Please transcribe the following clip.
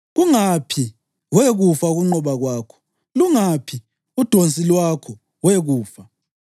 “Kungaphi, we kufa, ukunqoba kwakho? Lungaphi udonsi lwakho, we kufa?” + 15.55 UHosiya 13.14